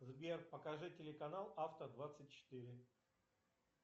сбер покажи телеканал авто двадцать четыре